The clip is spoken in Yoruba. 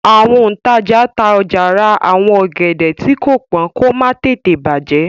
àwọn òǹtajà tá ọjà rà àwọn ògèdè tii ko pọn kò má tètè bajẹ